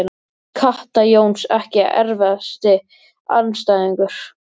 Kata Jóns Ekki erfiðasti andstæðingur?